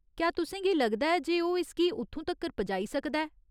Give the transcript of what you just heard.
क्या तुसें गी लगदा ऐ जे ओह् इसगी उत्थूं तक्कर पजाई सकदा ऐ ?